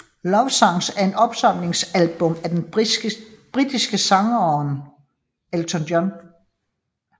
Love Songs er et opsamlingsalbum af den britiske sangeren Elton John